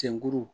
Tinguru